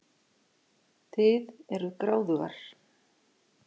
Þið eruð gráðugar.